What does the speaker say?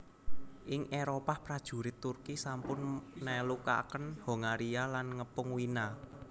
Ing Éropah prajurit Turki sampun nelukaken Hongaria lan ngepung Wina